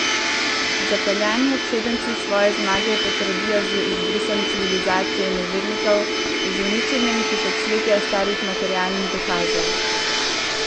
Zapeljani obsedenci svoje zmage potrdijo z izbrisom civilizacije nevernikov, z uničenjem tisočletja starih materialnih dokazov.